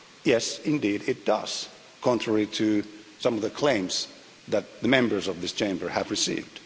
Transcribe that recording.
Yes indeed, it does, contrary to some of the claims that the members of this Chamber have received.